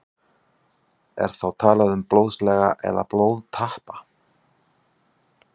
Er þá talað um blóðsega eða blóðtappa.